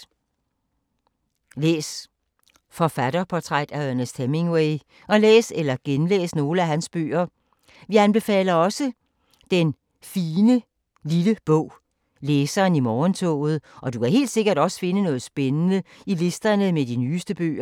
Læs forfatterportrættet af Ernest Hemingway og læs eller genlæs nogle af hans bøger. Vi anbefaler også den fine lille bog Læseren i morgentoget, og du kan helt sikkert også finde noget spændende i listerne med de nyeste bøger.